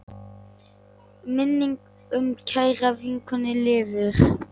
Minning um kæra vinkonu lifir.